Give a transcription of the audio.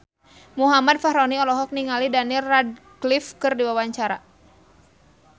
Muhammad Fachroni olohok ningali Daniel Radcliffe keur diwawancara